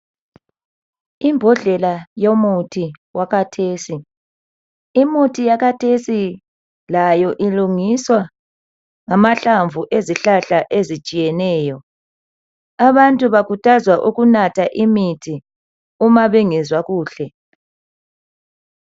Imbodlela yomuthi wakhathesi. Imithi yakhathesi layo ilungiswa ngamahlamvu ezihlahla ezitshiyeneyo. Abantu bakhuthazwa ukunatha imithi uma bengezwa kuhle.